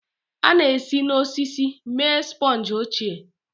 A na-esi n'osisi mee sponge ochie.